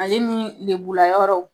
Ale nii lebulayɔrɔw